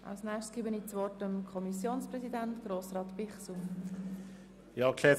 Als Nächstes erteile ich dem Kommissionspräsidenten Grossrat Bichsel das Wort.